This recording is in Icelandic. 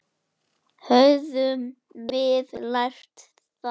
Höfum við lært það?